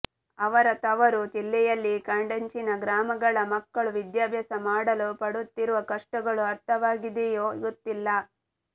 ಅವರ ತವರು ಜಿಲ್ಲೆಯಲ್ಲಿ ಕಾಡಂಚಿನ ಗ್ರಾಮಗಳ ಮಕ್ಕಳು ವಿದ್ಯಾಭ್ಯಾಸ ಮಾಡಲು ಪಡುತ್ತಿರುವ ಕಷ್ಟಗಳು ಅರ್ಥವಾಗಿದೆಯೋ ಗೊತ್ತಿಲ್ಲ